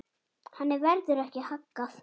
Henni verður ekki haggað.